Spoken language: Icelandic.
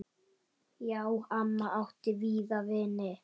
Já, amma átti víða vini.